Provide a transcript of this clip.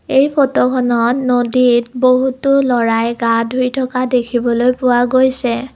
এই ফটোখনত নদীত বহুতো ল'ৰায়ে গা ধুই থকা দেখিবলৈ পোৱা গৈছে।